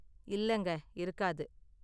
இல்லங்க, இருக்காது.